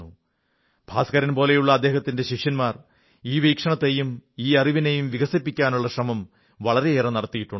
ഭാസ്കരൻ പോലുള്ള അദ്ദേഹത്തിന്റെ ശിഷ്യന്മാർ ഈ വീക്ഷണത്തെയും ഈ അറിവിനെയും വികസിപ്പിക്കാനുള്ള ശ്രമം വളരെയേറെ നടത്തിയിട്ടുണ്ട്